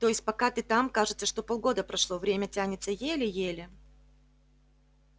то есть пока ты там кажется что полгода прошло время тянется еле-еле